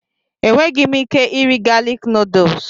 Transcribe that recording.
Enweghị m ike iri galik nuduls.